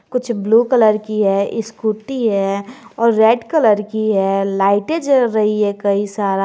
कुछ blue colour की है स्कूटी है और रेड कलर की है लाइटें जल रही है कई सारा।